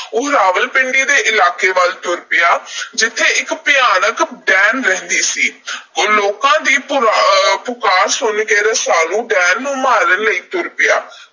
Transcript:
ਉਹ ਰਾਵਲਪਿੰਡੀ ਦੇ ਇਲਾਕੇ ਵਲ ਤੂਰ ਆ ਗਿਆ, ਜਿੱਥੇ ਇਕ ਭਿਆਨਕ ਡੈਣ ਰਹਿੰਦੀ ਸੀ। ਉਹ ਲੋਕਾਂ ਦੀ ਪੁ ਅਹ ਪੁਕਾਰ ਸੁਣ ਕੇ ਰਸਾਲੂ ਡੈਣ ਨੂੰ ਮਾਰਨ ਲਈ ਤੁਰ ਪਿਆ।